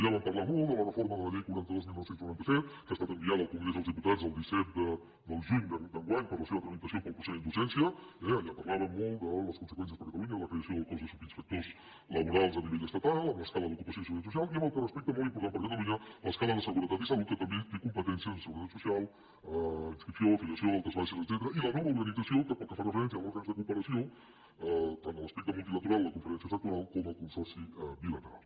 allà vam parlar molt de la reforma de la llei quaranta dos dinou noranta set que ha estat enviada al congrés dels diputats el disset de juny d’enguany per a la seva tramitació pel procediment d’urgència eh allà parlàvem molt de les conseqüències per a catalunya de la creació del cos de subinspectors laborals a nivell estatal amb l’escala d’ocupació i seguretat social i amb el que respecta molt important per a catalunya a l’escala de seguretat i salut que també té competències en seguretat social inscripció filiació altes baixes etcètera i a la nova organització que pel que fa referència a òrgans de cooperació tant l’aspecte multilateral de la conferència sectorial com el consorci bilateral